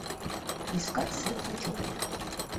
искать светлячок